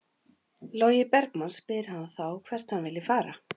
Logi Bergmann spyr hann þá hvert hann vilji fara?